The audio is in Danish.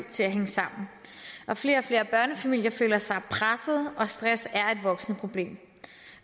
til at hænge sammen flere og flere børnefamilier føler sig presset og stress er et voksende problem